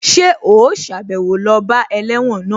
Ṣé ò sàbẹ̀wo lọ bá ẹlẹ́wọ̀n náà?